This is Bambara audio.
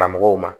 Karamɔgɔw ma